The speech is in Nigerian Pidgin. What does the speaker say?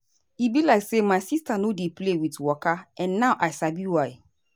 e be like say my sister no dey play with waka and now i sabi why.